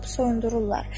Soyundururlar.